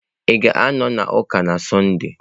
Ị ga-anọ n'ụka na Sọnde?